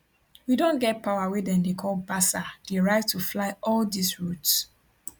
we don get power wey dem dey call basa di right to fly all dis routes